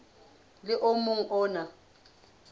le o mong o na